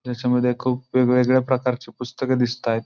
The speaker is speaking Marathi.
ह्याच्या मध्ये खुप वेगवेगळ्या प्रकारची पुस्तक दिसतायत.